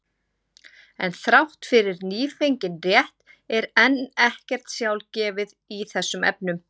En þrátt fyrir nýfengin rétt er enn ekkert sjálfgefið í þessum efnum.